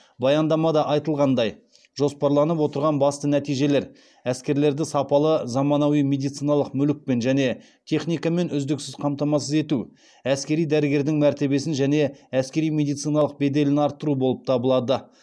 баяндамада айтылғандай жоспарланып отырған басты нәтижелер әскерлерді сапалы заманауи медициналық мүлікпен және техникамен үздіксіз қамтамасыз ету әскери дәрігердің мәртебесін және әскери медицинаның беделін арттыру болып табылады